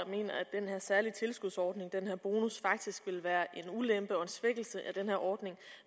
at den her særlige tilskudsordning den her bonus faktisk vil være en ulempe og en svækkelse af den her ordning